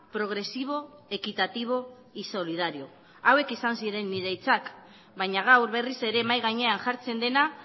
progresivo equitativo y solidario hauek izan ziren nire hitzak baina gaur berriz ere mahai gainean jartzen dena